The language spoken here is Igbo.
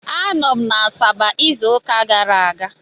Anọ m na Asaba izu ụka gara aga.